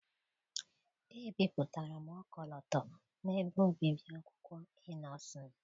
Ebipụtara m ọkọlọtọ n’ebe obibi akwụkwọ Ị́nnosịn.